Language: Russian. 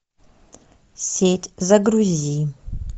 сеть загрузи